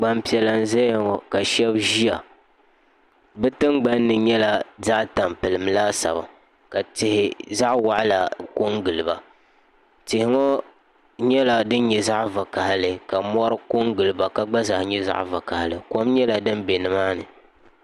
gbanpiɛla n ʒɛya ŋo ka shab ʒiya bi tingbanni nyɛla zaɣ tampilim laasabu ka tihi zaɣ waɣala ko n giliba tihi ŋo nyɛla din nyɛ zaɣ vakaɣali ka mori ko n giliba ka gba zaa nyɛ zaɣ vakaɣali kom nyɛla din bɛ nimaani